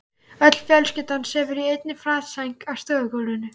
Öll fjölskyldan sefur í einni flatsæng á stofugólfinu.